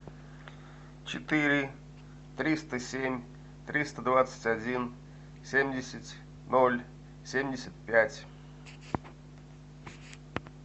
четыре триста семь триста двадцать один семьдесят ноль семьдесят пять